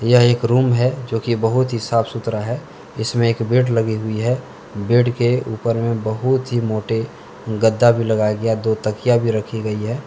एक रूम है जो की बहुत ही साफ सुथरा है इसमें एक बेड लगी हुई है बेड के ऊपर में बहुत ही मोटे गद्दा भी लगाया गया दो तकिया भी रखी गई है।